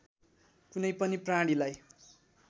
कुनै पनि प्राणीलाई